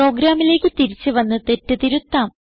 പ്രോഗ്രാമിലേക്ക് തിരിച്ചു വന്ന് തെറ്റ് തിരുത്താം